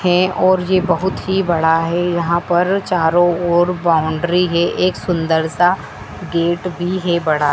हैं और ये बहुत ही बड़ा है यहां पर चारों ओर बाउंड्री है एक सुंदर सा गेट भी है बड़ा।